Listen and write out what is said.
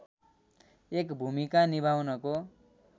एक भूमिका निभाउनको